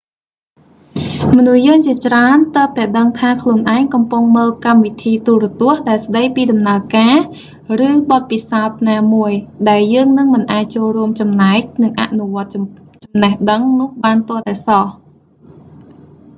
មនុស្សយើងជាច្រើនទើបតែដឹងថាខ្លួនឯងកំពុងមើលកម្មវិធីទូរទស្សន៍ដែលស្តីពីដំណើរការ ឬ បទពិសោធន៍ណាមួយ ដែលយើងនឹងមិនអាចចូលរួមចំណែក និងអនុវត្តចំណេះដឹងនោះបានទាល់តែសោះ